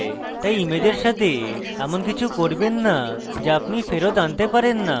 তাই ইমেজের সাথে এমন কিছু করবেন so so আপনি ফেরৎ আনতে পারেন so